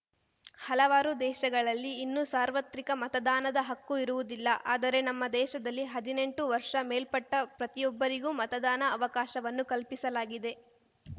ಹಲವಾರು ದೇಶಗಳಲ್ಲಿ ಇನ್ನೂ ಸಾರ್ವತ್ರಿಕ ಮತದಾನದ ಹಕ್ಕು ಇರುವುದಿಲ್ಲ ಆದರೆ ನಮ್ಮ ದೇಶದಲ್ಲಿ ಹದಿನೆಂಟು ವರ್ಷ ಮೇಲ್ಪಟ್ಟಪ್ರತಿಯೊಬ್ಬರಿಗೂ ಮತದಾನ ಅವಕಾಶವನ್ನು ಕಲ್ಪಿಸಲಾಗಿದೆ